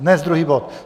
Dnes druhý bod.